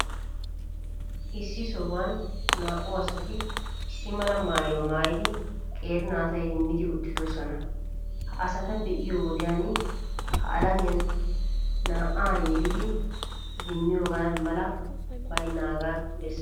Issi sohuwan naa''u asati issi mama maayuwaa maayidi, qeeri naata idimmidi uttidoosona. Ha asata be'iyo wodiyan ha alamiyan na'a yelidi idimmiyoogaa mali baynnaagaa bessees.